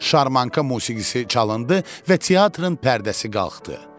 Şarmanka musiqisi çalındı və teatrın pərdəsi qalxdı.